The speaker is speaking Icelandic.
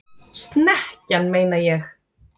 Snekkjan, meina ég!